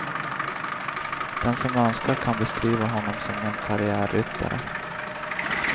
Den som önskar kan beskriva honom som en karriärryttare.